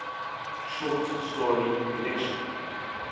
short story collection